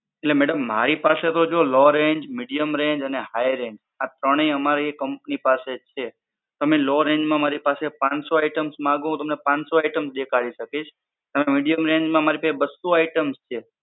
એટલે madam મારી પાસે તો જો low range, medium range and high range આ ત્રણેય અમારી company ની પાસે છે. તમે low range માં મારી પાસે પાંચસો items માંગો તો હું તમને પાંચસો items દેખાડી સકીશ. હવે medium range મા મારી પાસે બસો items છે.